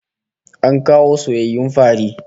An kawo soyayyun fari